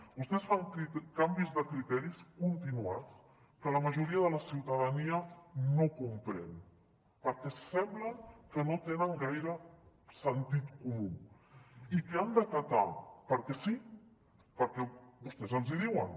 vostès fan canvis de criteris continuats que la majoria de la ciutadania no comprèn perquè sembla que no tenen gaire sentit comú i que han d’acatar perquè sí perquè vostès els ho diuen